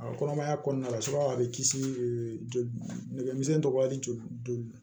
A kɔnɔmaya kɔnɔna la a be kisi joli nɛgɛmisɛnnin tɔgɔ ali joli